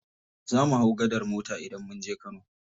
Zamu hau gadar mota idan munje kano.